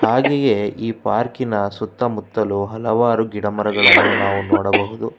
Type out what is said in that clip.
ಹಾಗೆಯೆ ಈ ಪಾರ್ಕಿ ನ ಸುತ್ತ ಮುತ್ತಲು ಹಲವಾರು ಗಿಡಮರಗಳನ್ನು ನಾವು ನೋಡಬಹುದು.